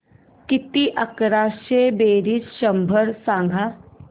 किती अकराशे बेरीज शंभर सांग